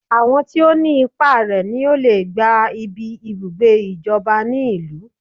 Àwọn tí ọ ní ipá rè ní ọ lè gbá ibí ibùgbé ìjọba ní ìlú